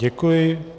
Děkuji.